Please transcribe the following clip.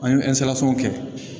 An ye kɛ